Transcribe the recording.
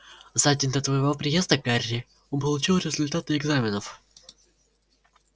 за день до твоего приезда гарри он получил результаты экзаменов